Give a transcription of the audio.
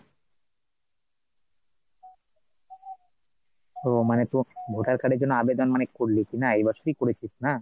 ওহ মানে তোর voter card এর জন্য আবেদন মানে করলি কিনা এই বছরেই করেছিস না ?